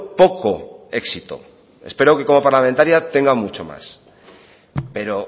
poco éxito espero que como parlamentaria tenga mucho más pero